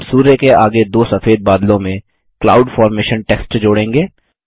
हम सूर्य के आगे दो सफेद बादलों में क्लाउड फॉर्मेशन टेक्स्ट जोड़ेंगे